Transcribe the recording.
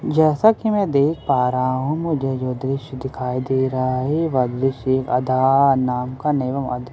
जैसा की मैं देख पा रही हूँ मुझे जो दृशय दिखाई दे रहा है वह दृशय --